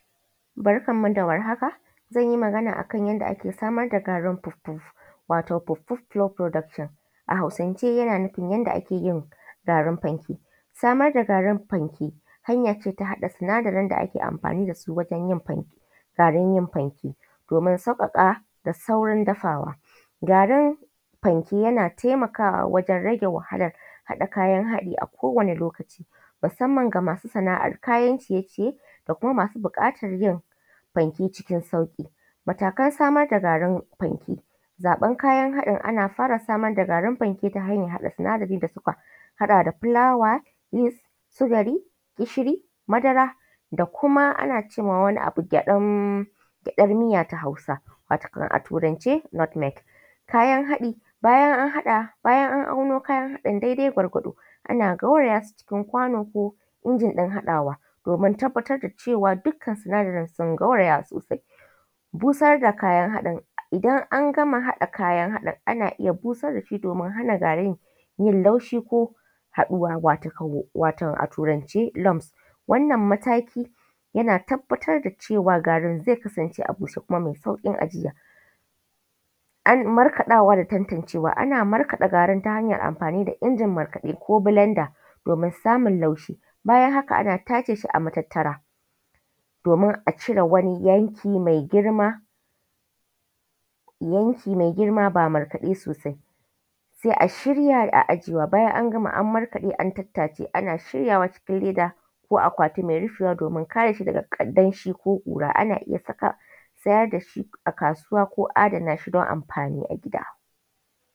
Barkanmu da warhaka zan yi magana ne akan yadda ake samar da garin fuffu wato fuffu stock production. A hausance yana nufin samar da garin fanke hanya ce ta hada sinadarin da ake amfani da su wajen yin fanke domin sauƙaƙa da saurin dafawa. Garin fanke yana taimakawa wajen rage wahala hada kayan hadi a kowane lokaci, musamman ga masu sana'ar kayan ciye-ciye da kuma masu buƙatar yin fanke cikin sauƙi. Matakan samar da garin fanke, zubar kayan haɗin ana fara samar da garin fanke ta haɗa sinadari da suka hada da fulawa yis, sukari gishiri, madara da kima wani abu da ake ce masa gyaɗar miya ta Hausawa wato a turance white meat .kayan haɗi bayan an haɗa bayan an auno ana gauraya su cikin kwano ko injin hadawa domin a tabbatar dukkan sinadarin sun gauraya sosai. Busar da kayan haɗin, idan ana gama hada kayan hadin ana iya busar da shi domin hana garin yin laushi ko haduwa wato a turance Lams. Wannan mataki yana tabbatar da cewa wato garin zai kasance a bushe kuma mai sauƙin ajiya. Markaɗawa da tantancewa ana Markaɗa abu ta hanyara amfani da injin Markaɗa ko blender don samun laushi, bayan haka ana tace shi a matattara domin a cire wani yanki mai girma ba Markaɗe sosai sai a shirya a ajiye. Bayan an gama an Markaɗe sai a tace ana shiryawa cikin akwailti mai rufi ko leda domin kare shi daga danshi ko ƙura, ana iya saka a sayar da shi a kasuwa ko adana shi don amfani a gida.